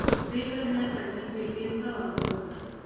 पे करण्यासाठी पेटीएम चा वापर कर